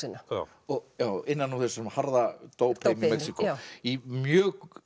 upp fallöxina innan úr þessum harða dópheimi Mexíkó í mjög